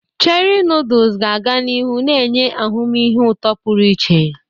Cherie noodles ga-aga n'ihu na-enye ahụmịhe ụtọ pụrụ iche.